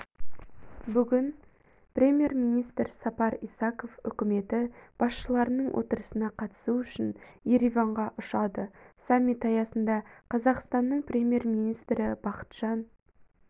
бүгін премьер-министр сапар исаков үкіметі басшыларының отырысына қатысу үшін ереванға ұшады саммит аясында қазақстанның премьер-министрі бақытжан